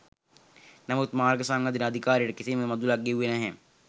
නමුත් මාර්ග සංවර්ධන අධිකාරියට කිසිම මුදලක් ගෙව්වේ නැහැ.